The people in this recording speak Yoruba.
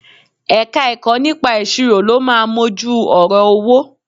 Ẹ̀ka-ẹ̀kọ́ nípa ìṣirò ló máa mójú ọ̀rọ̀ owó